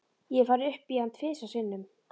Ég hef farið upp í hann tvisvar sinnum.